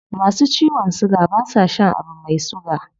Masu ciwon suga ba sa shan abu mai suga